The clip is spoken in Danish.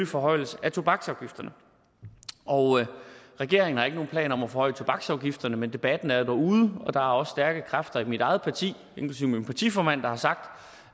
forhøjelse af tobaksafgifterne regeringen har ikke nogen planer om at forhøje tobaksafgifterne men debatten er jo derude og der er også stærke kræfter i mit eget parti inklusive min partiformand der har sagt